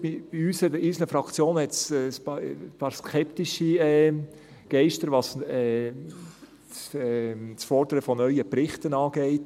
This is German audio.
In unseren Fraktionen gibt es ein paar skeptische Geister, was das Fordern von neuen Berichten angeht.